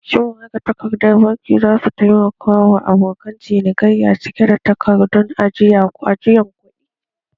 Shin magatakardar bankin za su taimaka wa abokan cinikayya cika takardun ajiyan kuɗi?